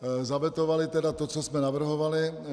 Zavetovali tedy to, co jsme navrhovali.